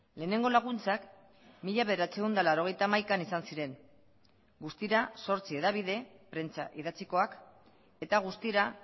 lehenengo laguntzak mila bederatziehun eta laurogeita hamaikan izan ziren guztira zortzi hedabide prentsa idatzikoak eta guztira